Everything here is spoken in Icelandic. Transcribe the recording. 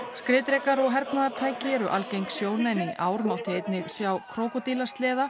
skriðdrekar og hernaðartæki eru algeng sjón en í ár mátti einnig sjá